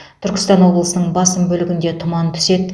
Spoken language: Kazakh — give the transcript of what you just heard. түркістан облысының басым бөлігінде тұман түседі